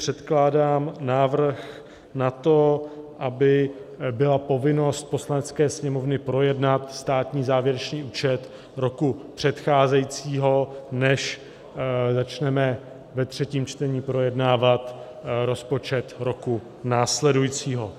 Předkládám návrh na to, aby byla povinnost Poslanecké sněmovny projednat státní závěrečný účet roku předcházejícího, než začneme ve třetím čtení projednávat rozpočet roku následujícího.